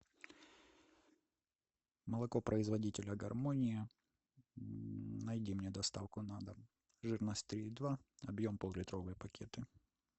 молоко производителя гармония найди мне доставку на дом жирность три и два объем поллитровые пакеты